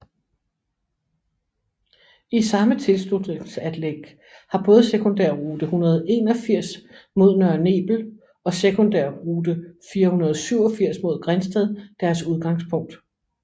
I samme tilslutningsanlæg har både sekundærrute 181 mod Nørre Nebel og sekundærrute 487 mod Grindsted deres udgangspunkt